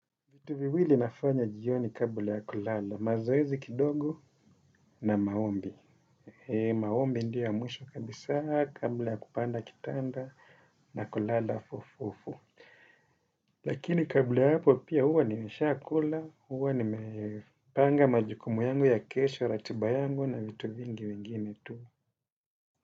Vitu viwili nafanya jioni kabla ya kulala, mazoezi kidogo na maombi. Maombi ndiyo ya mwisho kabisa, kabla ya kupanda kitanda na kulala fufufu. Lakini kabla ya hapo pia huwa nimesha kula, huwa nimepanga majukumu yangu ya kesho, ratiba yangu na vitu vingi vingine tu.